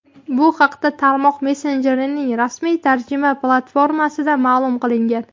Bu haqda tarmoq messenjerining rasmiy tarjima platformasida ma’lum qilingan.